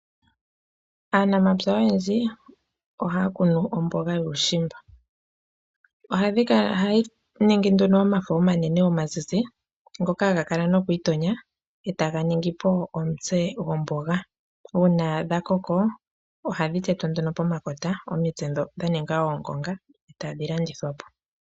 Aanamapya oyendji ohaya kunu omboga yuushimba ohadhi kala nduno dhina omafo omanene omazizi ngoka haga kala nokwiitonya etaga ningi po omutse gomboga. Uuna dha koko ohadhi tetwa nduno pomakota etadhi omitse ndhoka dha ninga oongonga etadhi landithwa po.